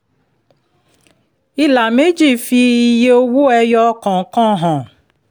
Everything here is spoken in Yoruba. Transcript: ìlà méjì fi iye owó ẹyọ kọ̀ọ̀kan hàn